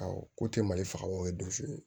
Awɔ ko tɛ mali faga wa o ye donsu ye